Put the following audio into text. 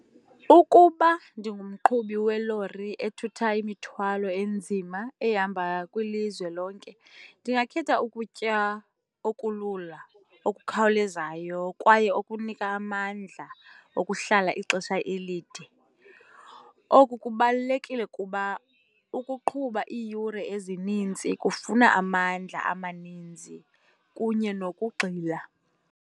Ukuba ndingumqhubi welori ethutha imithwalo enzima ehamba kwilizwe lonke, ndingakhetha ukutya okulula, okukhawulezayo kwaye okunika amandla okuhlala ixesha elide. Oku kubalulekile kuba ukuqhuba iiyure ezininzi kufuna amandla amaninzi kunye nokugxila.